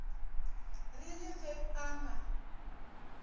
re le ge a na